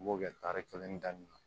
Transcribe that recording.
U b'o kɛ tari kelen daminɛ na